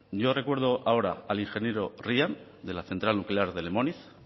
yo recuerdo ahora al ingeniero ryan de la central nuclear de lemóniz